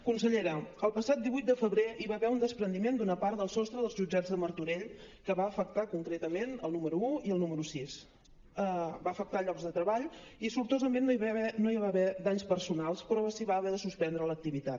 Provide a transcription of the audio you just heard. consellera el passat divuit de febrer hi va haver un despreniment d’una part del sostre dels jutjats de martorell que va afectar concretament el número un i el número sis va afectar llocs de treball i sortosament no hi va haver danys personals però s’hi va haver de suspendre l’activitat